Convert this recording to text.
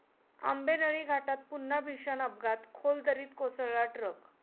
आंबेनळी घाटात पुन्हा भीषण अपघात, खोल दरीत कोसळला ट्रक